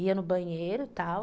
Ia no banheiro e tal.